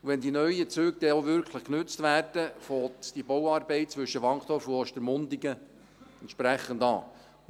Und wenn die neuen Züge dann auch richtig genutzt werden, fängt die Bauarbeit zwischen Wankdorf und Ostermundigen entsprechend an.